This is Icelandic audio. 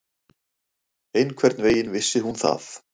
Einhvern veginn vissi hún það.